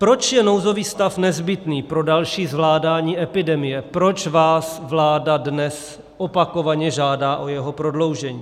Proč je nouzový stav nezbytný pro další zvládání epidemie, proč vás vláda dnes opakovaně žádá o jeho prodloužení?